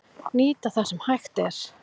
Nýta það sem hægt er